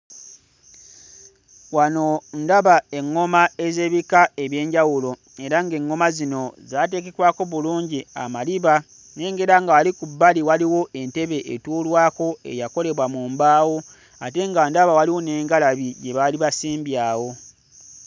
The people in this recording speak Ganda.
Wano ndaba eᵑᵑoma ez'ebika eby'enjawulo era ng'eᵑᵑoma zino zaateekekwako bulungi amaliba. Nnengera nga wali ku bbali waliwo entebe etuulwako eyakolebwa mu mbaawo ate nga ndaba waliwo n'engalabi gye basimbye awo.